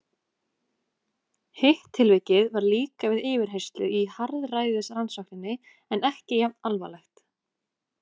Hitt tilvikið var líka við yfirheyrslu í harðræðisrannsókninni en ekki jafn alvarlegt.